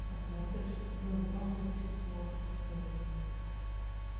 пока смотришь ну в любом случае ты смотришь тоже